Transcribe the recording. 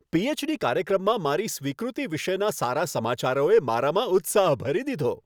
PhD. કાર્યક્રમમાં મારી સ્વીકૃતિ વિશેના સારા સમાચારોએ મારામાં ઉત્સાહ ભરી દીધો.